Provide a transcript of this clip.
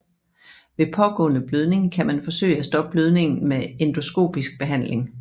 Ved pågående blødning kan man forsøge at stoppe blødningen med endoskopisk behandling